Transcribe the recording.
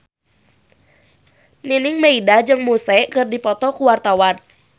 Nining Meida jeung Muse keur dipoto ku wartawan